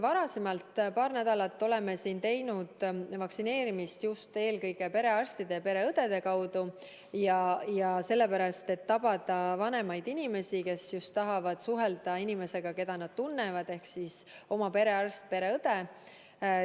Seni oleme korraldanud vaktsineerimist eelkõige perearstide ja pereõdede kaudu – seda sellepärast, et tabada vanemaid inimesi, kes tahavad suhelda inimesega, keda nad tunnevad ehk oma perearsti või pereõega.